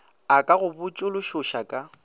a ka go botšološoša ka